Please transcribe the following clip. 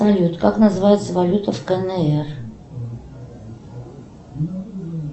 салют как называется валюта в кнр